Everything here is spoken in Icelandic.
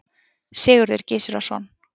Sigurður Gizurarson.